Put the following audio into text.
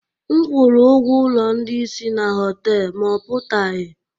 M kwụrụ ụgwọ ụlọ ndị isi na họtel, ma ọ pụtaghị